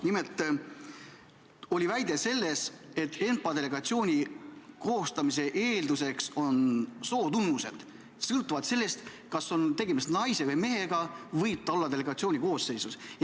Nimelt, väide oli selline, et ENPA delegatsiooni koostamise eelduseks on sootunnused: sõltuvalt sellest, kas on tegemist naise või mehega, võib see inimene olla delegatsiooni koosseisus.